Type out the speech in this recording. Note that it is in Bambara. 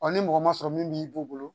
ni mɔgɔ ma sɔrɔ min b'i bolo